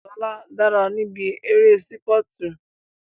Lóla dára níbi eré sípọ̀tù